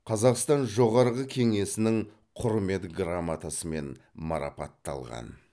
қазақстан жоғарғы кеңесінің құрмет грамотасымен марапатталған